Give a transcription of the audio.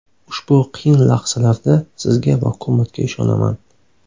Ushbu qiyin lahzalarda sizga va hukumatga ishonaman”.